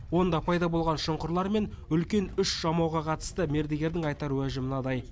онда пайда болған шұңқырлар мен үлкен үш жамауға қатысты мердігердің айтар уәжі мынадай